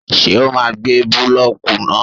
Ṣé ó máa gbé búlọ́kù náà?